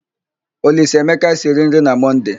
Olisaemeka siri nri na Mọnde.